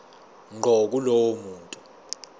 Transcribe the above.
ngqo kulowo muntu